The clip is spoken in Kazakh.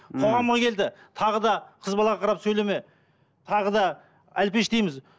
қоғамға келді тағы да қыз балаға қарап сөйлеме тағы да әлпештейміз